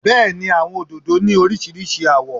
Bẹ́ẹ̀ni àwọn òdòdó ni oríṣiríṣi àwọ̀.